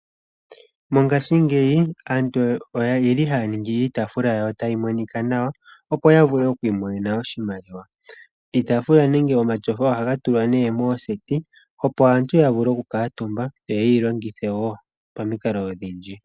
Mongaashingeyi aantu oye li haya ningi iitafula tayi monika nawa opo ya vule okwiimonena oshimaliwa. Iitafula nenge omatyofa oha ga tulwa nee mooseti opo aantu ya vule okukutumba yo yeyi longithe wo pomikalo odhindji.